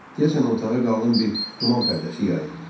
Deyəsən otağa qalın bir duman pərdəsi yayıldı.